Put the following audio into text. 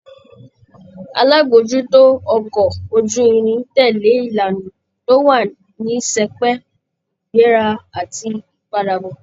Alábòójútó ọkọ̀ ojú-irin tẹ̀lé ìlànà tó wà ní sẹpẹ́, ìgbéra àti ìpadàbọ̀